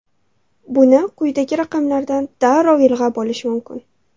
Buni quyidagi raqamlardan darrov ilg‘ab olish mumkin.